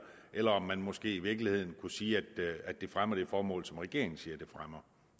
eller om man måske i virkeligheden kunne sige at det fremmer det formål som regeringen siger det fremmer